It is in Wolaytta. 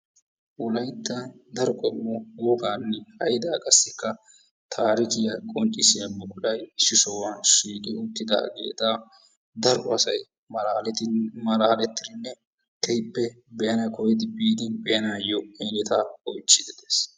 wolayttan daro qommo wogaanne haydaa qassika taarikkiya qonccissiya buquray issi sohuwan shiiqi uttidaageeta daro asay malaalettidi malaaletidinne keehippe nuna olidi biidi be'anaayo hidoota oychidi de'ees.